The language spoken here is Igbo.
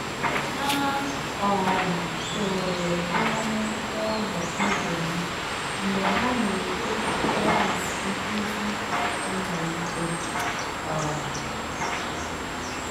Ha um toro anụ um toro anụ ụlọ ibe ha mgbe ha na-eche ka klas nkuzi amalite. um